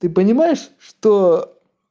ты понимаешь что